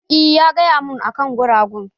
Eh, ya gaya mun akan gurgayen